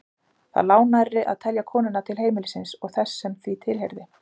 Það lá nærri að telja konuna til heimilisins og þess sem því tilheyrði.